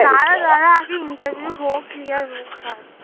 দ্বারা দ্বারা আগে interview হোক clear হোক তারপর।